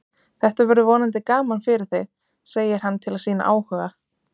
Þetta verður vonandi gaman fyrir þig, segir hann til að sýna áhuga.